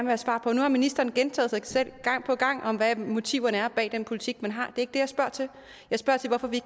have svar på nu har ministeren gentaget sig selv gang på gang om hvad motiverne er bag den politik man har det jeg spørger til jeg spørger til hvorfor vi